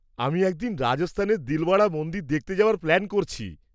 আমি একদিন রাজস্থানের দিলওয়াড়া মন্দির দেখতে যাওয়ার প্ল্যান করছি।